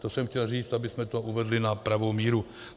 To jsem chtěl říct, abychom to uvedli na pravou míru.